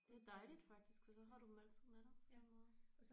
Det er dejligt faktisk for så har du dem altid med dig på en måde